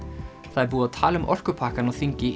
það er búið að tala um orkupakkann á þingi í